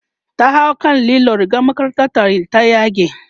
ta hau kan lilo rigar makarantar ta ta yage